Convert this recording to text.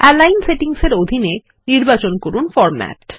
align settings এর অধীনে নির্বাচন করুন ফরমেট